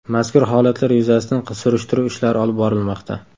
Mazkur holatlar yuzasidan surishtiruv ishlari olib borilmoqda.